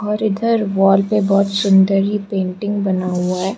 और इधर वॉल पे बहोत सुंदर ही पेंटिंग बना हुआ है।